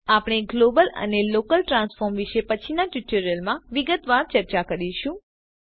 આપણે ગ્લોબલ અને local transform વિષે પછીના ટ્યુટોરિયલ્સ માં વિગતવાર ચર્ચા કરીશું